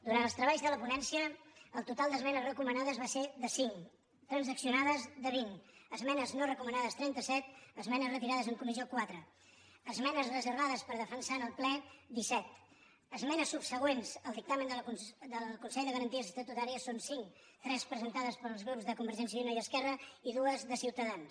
durant els treballs de la ponència el total d’esmenes recomanades va ser de cinc transaccionades vint esmenes no recomanades trenta set esmenes retirades en comissió quatre esmenes reservades per defensar en el ple disset esmenes subsegüents al dictamen del consell de garanties estatutàries són cinc tres presentades pels grups de convergència i unió i esquerra i dues de ciutadans